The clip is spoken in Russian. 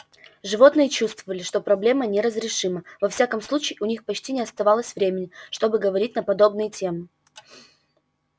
животные чувствовали что проблема неразрешима во всяком случае у них почти не оставалось времени чтобы говорить на подобные темы